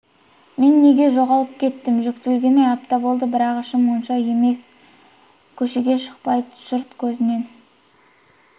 мен неге жоғалып кеттім жүктілігіме апта болды бірақ ішім онша үлкен емес көшеге шықпай жұрт көзінен